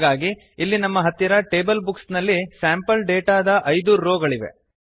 ಹಾಗಾಗಿ ಇಲ್ಲಿ ನಮ್ಮ ಹತ್ತಿರ ಟೇಬಲ್ ಬುಕ್ಸ್ ನಲ್ಲಿ ಸ್ಯಾಂಪಲ್ ಡೇಟಾದ 5 ರೋ ಗಳಿವೆ